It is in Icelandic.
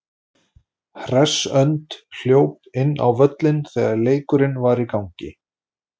Hress önd hljóp þá inn á völlinn þegar leikurinn var í gangi.